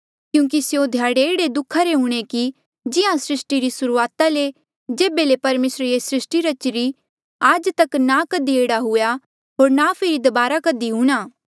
क्यूंकि स्यों ध्याड़े ऐहड़े दुःखा रे हूंणे कि जिहां सृस्टी री सुरूआता ले जेभे ले परमेसरे ये सृस्टी रची आज तक ना कधी हुआ होर ना फेरी दबारा कधी हूंणा